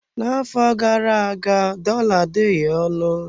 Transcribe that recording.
N'afọ gara aga, dollar adịghị ọnụ.